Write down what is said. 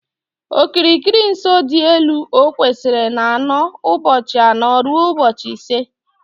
Okirikiri nsọ dị etu o kwesịrị na-anọ ụbọchị anọ rue ụbọchị ise